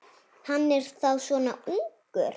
Hann er þá svona ungur.